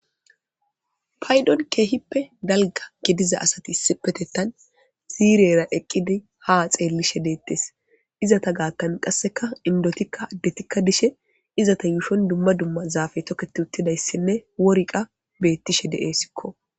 paydon keehippe dalga gidiza asati isipetettan ziirera eqqidi ha xeellishe deettes izata gaattan qasseka indotikka addetikka dishe izata yuushon dumma dumma zaafe toketi uttidayssinne worqa beettishe de7eessikko